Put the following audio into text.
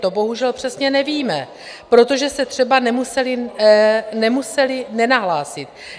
To bohužel přesně nevíme, protože se třeba nemuseli nahlásit.